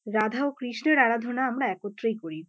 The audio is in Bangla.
রাধা ও কৃষ্ণের আরাধনা আমরা একত্রেই করি।